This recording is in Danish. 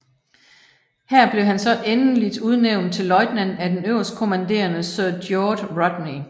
Her blev han så endeligt udnævnt til løjtnant af den øverstkommanderende Sir George Rodney